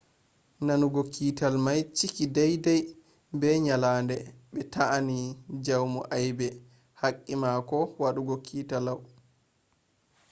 nanugo kiital mai ciki daidai be nyalande be ta'eni jaumu aibe haqqi mako wadugo kiital lau